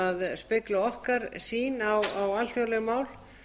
spegla okkar sýn a alþjóðleg mál